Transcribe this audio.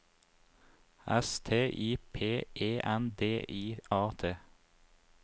S T I P E N D I A T